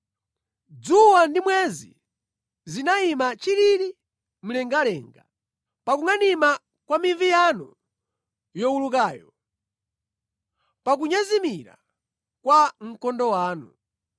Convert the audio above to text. Dzuwa ndi mwezi zinayima chilili mlengalenga, pa kungʼanima kwa mivi yanu yowulukayo, pa kunyezimira kwa mkondo wanu.